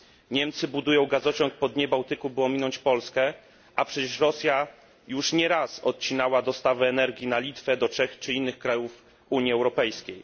Niemcy budują gazociąg po dnie Bałtyku, by ominąć Polskę, a przecież Rosja już nie raz odcinała dostawy energii na Litwę, do Czech czy innych krajów Unii Europejskiej.